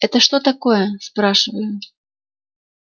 это что такое спрашиваю